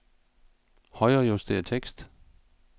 Højrejuster tekst.